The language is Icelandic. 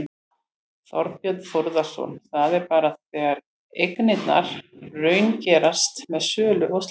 Þorbjörn Þórðarson: Það er bara þegar eignirnar raungerast með sölu og slíkt?